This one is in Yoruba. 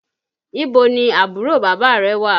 Ibo ni àbúrò bàbá rẹ wà?